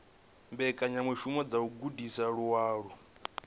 mbekanyamishumo dza u gudisa vhaaluwa